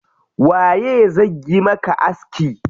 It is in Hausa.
Waye zai yi maka aski?